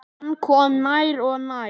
Hann kom nær og nær.